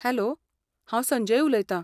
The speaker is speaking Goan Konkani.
हॅलो, हांव संजय उलयतां.